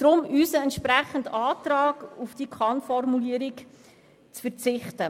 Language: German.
Deshalb unser Antrag, auf die Kann-Formulierung zu verzichten.